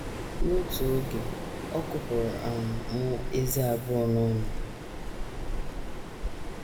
“ N’otu oge, ọ kụpụrụ um m ezé abụọ n’ọnụ.